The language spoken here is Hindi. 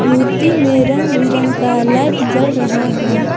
मूर्ति में रंग बिरंग का लाइट जल रहा है।